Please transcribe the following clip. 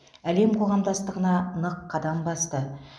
әлем қоғамдастығына нық қадам басты